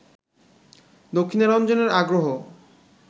দক্ষিণারঞ্জনের আগ্রহ